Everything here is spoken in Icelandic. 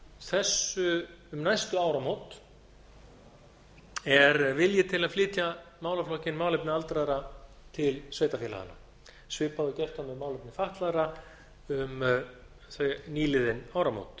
um næstu áramót er vilji til að flytja málaflokkinn um málefni aldraðra til sveitarfélaganna svipað og gert var með málefni fatlaðra um nýliðin áramót